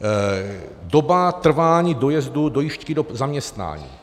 Doba trvání dojezdu, dojížďky do zaměstnání.